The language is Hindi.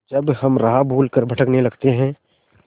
जब हम राह भूल कर भटकने लगते हैं